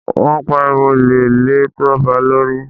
Wọ́n pariwo olè lé Toba lórí.